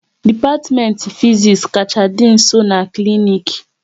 Dipatimenti Fiziks kacha dị nso n'klinik